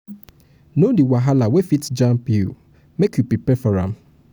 know di wahala wey fit jam you make you prepare for am